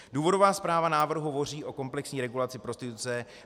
Důvodová zpráva návrhu hovoří o komplexní regulaci prostituce.